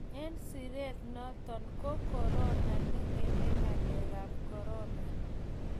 eng siret noto ko korona ne ngeme ngalek ab korona